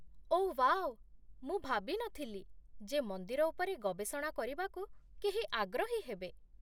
ଓଃ wow, ମୁଁ ଭାବିନଥିଲି ଯେ ମନ୍ଦିର ଉପରେ ଗବେଷଣା କରିବାକୁ କେହି ଆଗ୍ରହୀ ହେବେ।